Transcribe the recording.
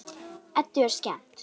Eddu er skemmt.